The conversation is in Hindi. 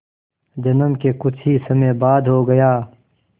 जन्म के कुछ ही समय बाद हो गया